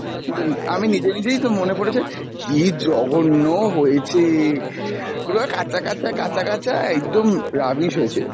আমি নিজে নিজেই তো মনে পড়েছে, কী জঘন্য হয়েছে, পুরো কাঁচা কাঁচা, কাঁচা কাঁচা, একদম rubbish হয়েছিল।